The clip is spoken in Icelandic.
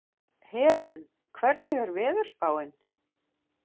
Helen, hvernig er veðurspáin?